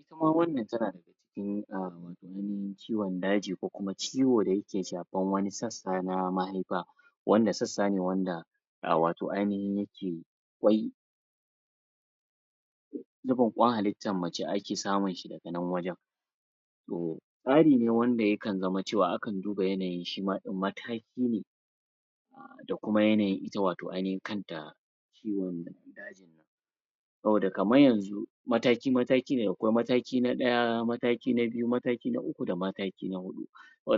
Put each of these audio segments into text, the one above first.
Ita ma wannan tana dafa cikin a wato ainahin ciwon daji ko kuma ciwo da yake shafar wani sassa na mahaifa wanda sassa ne wanda a wato ainahi yake? zubin kwan halittar mace ake samun shi daga nan wajen? tsari ne wanda yakan zama cewa akan duba yanayin shi ma ɗin mataki ne da kuma yanayin ita wato ainahin kanta ciwon dajin saboda kamar yanzu mataki-mataki ne akwai mataki na ɗaya mataki na biyu mataki na uku da mataki na huɗu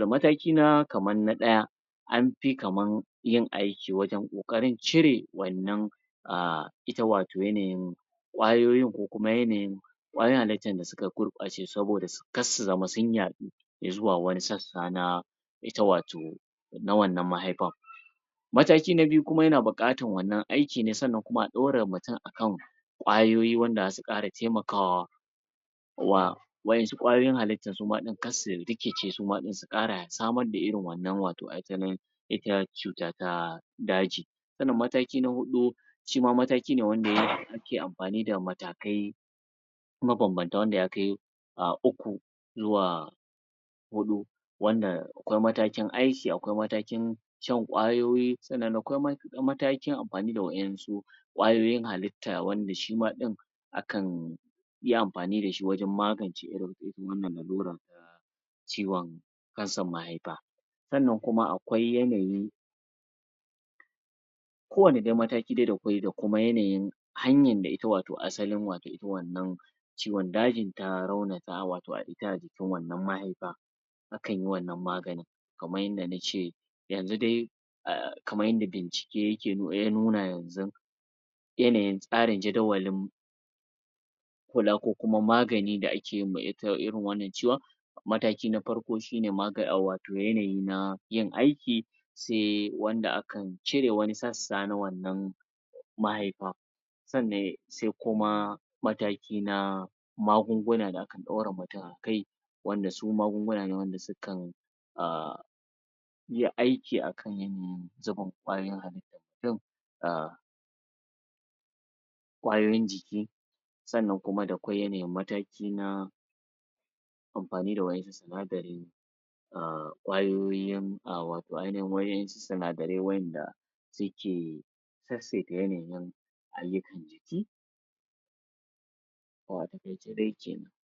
mataki na kamar na ɗaya an fi kamar yin aiki wajen ƙoƙarin cire wannan a ita wato yanayin kwayoyin ko kuma yanayin kwayoyin halittar da suka gurɓace saboda kar su zama sun yaɗu izuwa wani sassa na ita wato na wannan mahaifa mataki na biyu kuma yana buƙatar wannan aiki ne sannan kuma a ɗora mutum kwayoyi wanda za su ƙara taimakawa wa wa'yansu kwayoyin halitta suma ɗin kansu suma ɗin su ƙara samar da irin wannan wato asalin ita cuta ta daji sannan mataki na huɗu shi ma mataki ne wanda ya ake amfani da matakai mabanbanta wanda ya kai uku zuwa huɗu wanda akwai matakin aiki akwai matakin shan kwayoyi sannan da kwai matakin amfani da wa'yansu kwayoyiyin halitta wanda shi ma ɗin akan yi amfani da shi wajen magance irin wannan lalurar ta ciwon kansar mahaifa sannan kuma akwai yanayi kowanne dai mataki da kwai da kuma yanayin hanyar da ita wato asalin wato ita wannan ciwon dajin ta raunata wato a ita jikin wannan mahaifa akan yi wannan maganin kamar yadda na ce yanzu dai a kamar yanda bincike yake ya nuna yanzun yanayin tsarin jadawalin kula ko kuma magani da ake yi ma ita irin wannan ciwon mataki na farko shi ne maga wato yanayi na yin aiki sai wanda akan cire wanai sassa na wannan mahaifa sannan sai kuma mataki na magunguna da akan ɗora mutun akai wanda su magunguna ne wanda sukan a yi aiki akan yanayin zubin kwayoyin halittarmu? a kwayoyin jiki sannan kuma da kyau yanayin mataki na amfani da wa'yansu sinadarin a kwayoyin wato ainahin wa'yansu sinadarai wa'yanda suke sasseta yanayin halittar jiki to a taƙaice dai kenan.